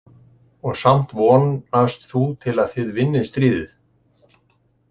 Og samt vonast þú til að þið vinnið stríðið?